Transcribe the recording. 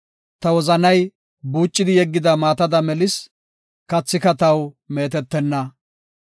Ta wozanay buucidi yeggida maatada melis; kathika taw meetetenna.